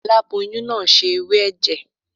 Aláboyún náà se ewé ẹ̀jẹ̀.